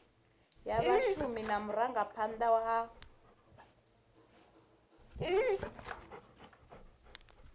ya vhashumi na vhurangaphanda ha